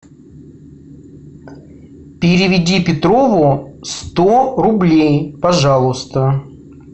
переведи петрову сто рублей пожалуйста